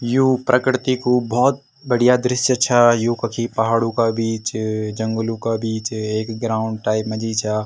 यु प्रकृति कु भोत बढ़िया दृश्य छ यु कखी पहाडू का बीच जंगलो का बीच एक ग्राउंड टाइप मा जी छ।